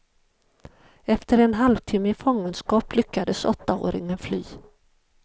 Efter en halvtimme i fångenskap lyckades åttaåringen fly.